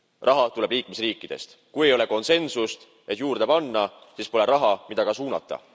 Raha tuleb liikmesriikidest, kui ei ole konsensust, et juurde panna, siis pole raha, mida ka suunata.